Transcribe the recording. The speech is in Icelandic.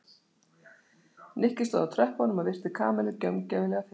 Nikki stóð á tröppunum og virti Kamillu gaumgæfilega fyrir sér.